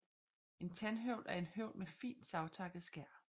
En Tandhøvl er en høvl med fint savtakket skær